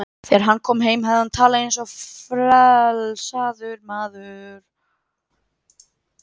Þegar hann kom heim hafði hann talað eins og frelsaður maður.